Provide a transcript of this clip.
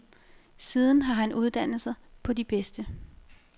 Siden har han uddannet sig på de bedste.